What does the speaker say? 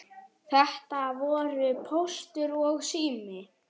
Þetta voru Póstur og Sími.